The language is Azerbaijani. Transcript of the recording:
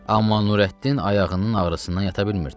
Amma Nurəddin ayağının ağrısından yata bilmirdi.